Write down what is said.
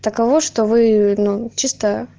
таково что вы ну чисто